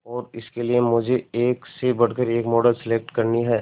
और इसके लिए मुझे एक से बढ़कर एक मॉडल सेलेक्ट करनी है